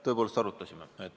Tõepoolest arutasime.